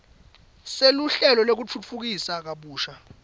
seluhlelo lwekutfutfukisa kabusha